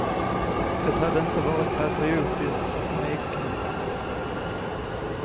Det hade inte varit patriotiskt att neka.